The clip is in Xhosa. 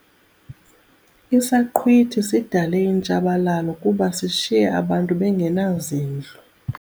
Isaqhwithi sidale intshabalalo kuba sishiye abantu bengenazindlu.